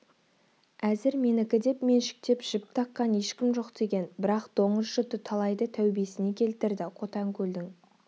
әзір менікі деп меншіктеп жіп таққан ешкім жоқ деген бірақ доңыз жұты талайды тәубесіне келтірді қотанкөлдің